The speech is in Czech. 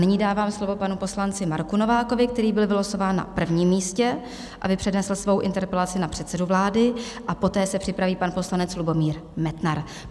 Nyní dávám slovo panu poslanci Marku Novákovi, který byl vylosován na prvním místě, aby přednesl svoji interpelaci na předsedu vlády, a poté se připraví pan poslanec Lubomír Metnar.